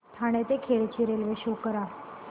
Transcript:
ठाणे ते खेड ची railway show करा